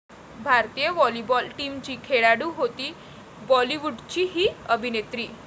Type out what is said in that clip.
भारतीय व्हॉलीबॉल टीमची खेळाडू होती बॉलिवूडची 'ही' अभिनेत्री